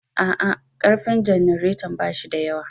A'a. ƙarfin janaretan ba shi da yawa